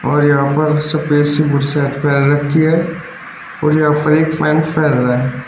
और यहां पर सफेद सी वो शर्ट पहन रखी है और यहां पर एक रहा है।